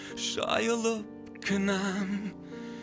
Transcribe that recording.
жайылып кінәм